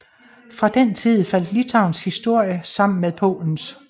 Fra den tid faldt Litauens historie sammen med Polens